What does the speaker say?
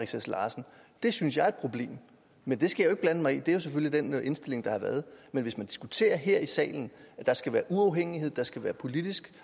sass larsen det synes jeg er et problem men det skal jo blande mig i det er selvfølgelig den indstilling der har været men hvis man diskuterer her i salen at der skal være uafhængighed at der skal være politisk